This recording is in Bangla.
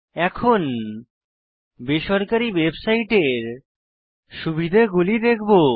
এখন বেসরকারী ওয়েবসাইটের সুবিধাগুলি দেখবো